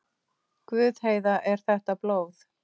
Guð, Heiða, er þetta blóð?